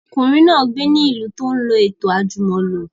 Ọmọkùnrin náà gbé ní ìlú tí ó lọ ètò àjùmọ̀lo